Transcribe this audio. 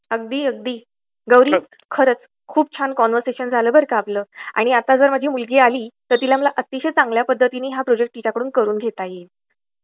अगदी, अगदी. गौरी, खरच खूप छान कन्व्हर्सेशन झालं बरं का आपलं आणि आता जर माझी मुलगी आली तर माला अतिशय चांगल्या पद्धतीने तिच्याकडून हा प्रोजेक्ट करून घेता येईल.